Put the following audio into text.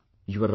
You are right